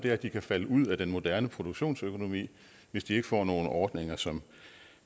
er at de kan falde ud af den moderne produktionsøkonomi hvis de ikke får nogle ordninger som